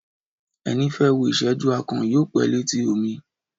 Ẹni fẹ́ wò ìsẹ́jú akàn, yóò pẹ́ létí omi